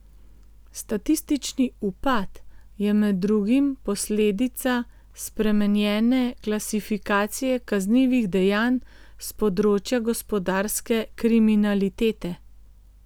Statistični upad je med drugim posledica spremenjene klasifikacije kaznivih dejanj s področja gospodarske kriminalitete.